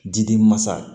Diden mansa